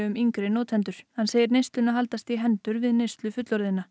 um yngri notendur hann segir neysluna haldast í hendur við neyslu fullorðna